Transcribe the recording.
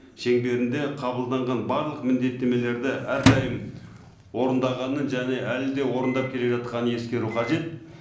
шеңберінде қабылданған барлық міндеттемелерді әрдайым орындағанын және әлі де орындап келе жатқанын ескеру қажет